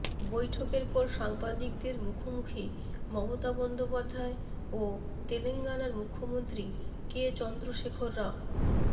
বৈঠকের পর সাংবাদিকদের মুখোমুখি মমতা বন্দ্যোপাধ্যায় ও তেলেঙ্গানার মুখ্যমন্ত্রী কে চন্দ্রশেখর রাও